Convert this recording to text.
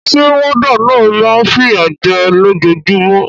Sé warder náà ma n fìyà je lójojúmó